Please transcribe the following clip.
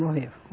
Morreu.